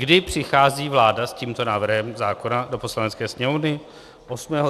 Kdy přichází vláda s tímto návrhem zákona do Poslanecké sněmovny?